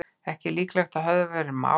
Ekki líklegt að höfðað verði mál